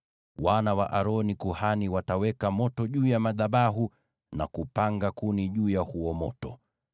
Wana wa Aroni kuhani wataweka moto juu ya madhabahu na kupanga kuni juu ya huo moto.